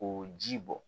K'o ji bɔ